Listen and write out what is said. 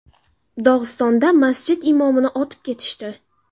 Dog‘istonda masjid imomini otib ketishdi.